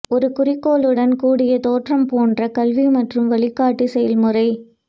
ஒரு குறிக்கோளுடன் கூடிய தோற்றம் போன்ற கல்வி மற்றும் வழிகாட்டி செயல்முறை